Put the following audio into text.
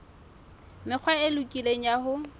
mekgwa e lokileng ya ho